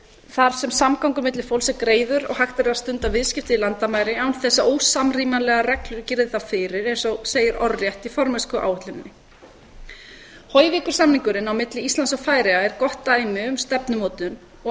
þar sem samgangur milli fólks er greiður og hægt er að stunda viðskipti landamæri án þess að ósamrýmanlegar reglur girði þá fyrir eins og segir orðrétt í formennskuáætluninni höyvíkursamningurinn á milli íslands og færeyja er gott dæmi um stefnumótun og